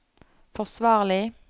forsvarlig